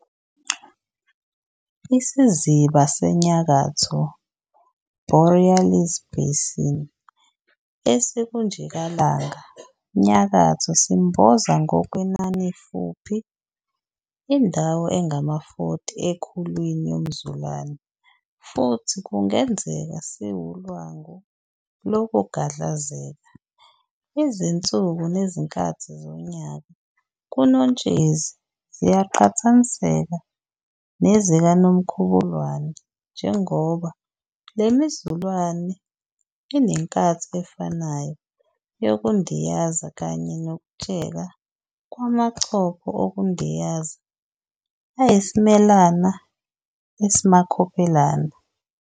IsiZiba Senyakatho "Borealis basin" esikuNjikalanga nyakatho simboza ngokwenanifuphi indawo engama-40 ekhulwini yomzulane futhi kungenzeka siwulwangu lokugadlazeka. Izinsuku nezinkathi zonyaka kuNotshezi ziyaqhathaniseka nezikaNomkhubulwane, njengoba lemizulane inenkathi efanayo yokundiyaza kanye nokutsheka kwamachopho okundiyaza ayisimelana esimakhophelana.